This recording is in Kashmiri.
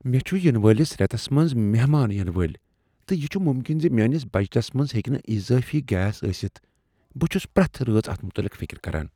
مےٚ چھ ینہٕ وٲلس ریتس منٛز مہمان ینہٕ وٲلۍ، تہٕ یہ چھ ممکن زِ میٲنس بجٹس منٛز ہیکِہ نہٕ اضٲفی گیس ٲستھ۔ بہٕ چھس پرٛتھ رٲژ اتھ متعلق فکر کران۔